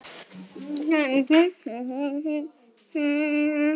Þú ert ekki.